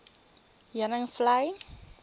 heuningvlei